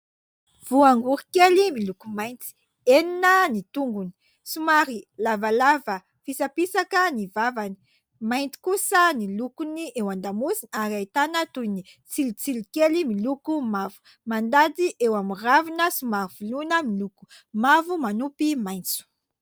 Voangory kely miloko mainty, enina ny tongony; somary lavalava fisapisaka ny vavany; mainty kosa ny lokon'ny eo an-damosina ary ahitana toy ny tsilotsilo kely miloko mavo. Mandady eo amin'ny ravina somary voloina, miloko mavo manopy maitso.